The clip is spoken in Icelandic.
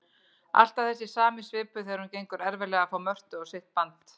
Alltaf þessi sami svipur þegar honum gengur erfiðlega að fá Mörtu á sitt band.